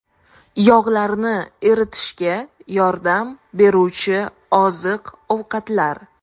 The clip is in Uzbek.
Yog‘larni eritishga yordam beruvchi oziq-ovqatlar.